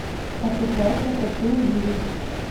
отыграйся хочу увидеть